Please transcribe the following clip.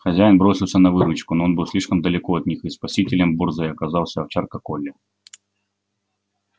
хозяин бросился на выручку но он был слишком далеко от них и спасителем борзой оказалась овчарка колли